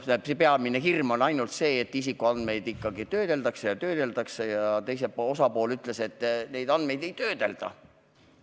Peamine hirm oli see, et isikuandmeid ikkagi töödeldakse, kuigi teine osapool ütles, et neid andmeid ei töödelda.